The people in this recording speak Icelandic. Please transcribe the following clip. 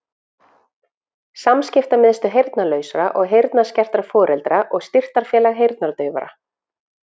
samskiptamiðstöð heyrnarlausra og heyrnarskertra foreldra og styrktarfélag heyrnardaufra